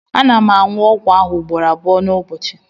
ana m aṅụ ọgwụ ahụ ugboro abụọ n'ụbọchị